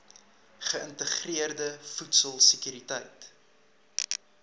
geïntegreerde voedsel sekuriteit